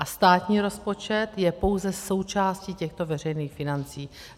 A státní rozpočet je pouze součástí těchto veřejných financí.